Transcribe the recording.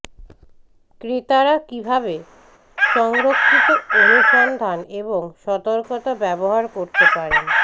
ক্রেতারা কিভাবে সংরক্ষিত অনুসন্ধান এবং সতর্কতা ব্যবহার করতে পারেন